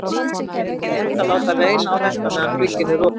Er ekki rétt að láta reyna á þetta meðan glugginn er opinn?